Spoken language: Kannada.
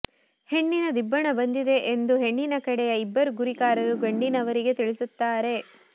ಹೆಣ್ಣಿನ ದಿಬ್ಬಣ ಬಂದಿದೆ ಎಂದು ಹೆಣ್ಣಿನ ಕಡೆಯ ಇಬ್ಬರು ಗುರಿಕಾರರು ಗಂಡಿನವರಿಗೆ ತಿಳಿಸುತ್ತಾರೆ